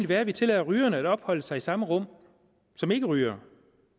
være at vi tillader rygere at opholde sig i samme rum som ikkerygere